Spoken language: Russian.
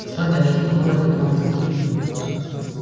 кстати а что такое этот камтек